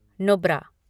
Nubra